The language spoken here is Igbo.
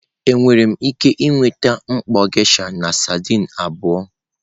Enwere m ike nweta mkpọ geisha na sardine abụọ?